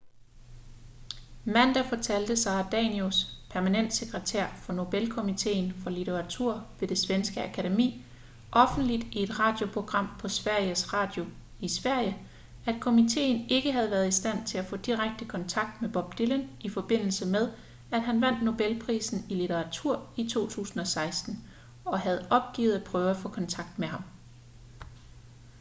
mandag fortalte sara danius permanent sekretær for nobelkomiteen for litteratur ved det svenske akademi offentligt i et radioprogram på sveriges radio i sverige at komiteen ikke havde været i stand til at få direkte kontakt med bob dylan i forbindelse med at han vandt nobelprisen i litteratur i 2016 og havde opgivet at prøve at få kontakt med ham